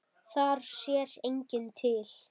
Þar sér enginn til.